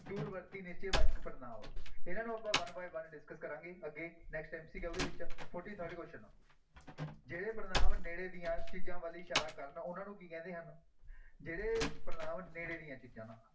ਦੂਰ ਵਰਤੀ ਨਿਸ਼ਚੈ ਵਾਚਕ ਪੜ੍ਹਨਾਂਵ, ਇਹਨਾਂ ਨੂੰ ਆਪਾਂ one by one discuss ਕਰਾਂਗੇ ਅੱਗੇ next MCQ ਦੇ ਵਿੱਚ forty-third question ਜਿਹੜੇ ਪੜ੍ਹਨਾਂਵ ਨੇੜੇ ਦੀਆਂ ਚੀਜ਼ਾਂ ਵੱਲ ਇਸ਼ਾਰਾ ਕਰਨ ਉਹਨਾਂ ਨੂੰ ਕੀ ਕਹਿੰਦੇ ਹਨ, ਜਿਹੜੇ ਪੜ੍ਹਨਾਂਵ ਨੇੜੇ ਦੀਆਂ ਚੀਜ਼ਾਂ ਨੂੰ